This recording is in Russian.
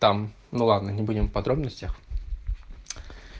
там ну ладно не будем в подробностях